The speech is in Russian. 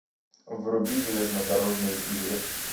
вруби железнодорожные тигры